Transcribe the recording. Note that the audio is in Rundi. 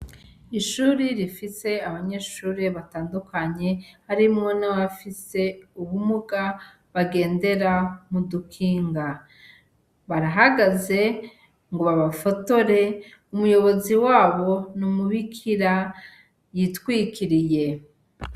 Ishure rifise abanyeshure batandukanye harimwo n'abafise ubumuga bagendera mudukinga barahagaze ngo babafotore umuyobozi wabo numubikira yitwikiriye.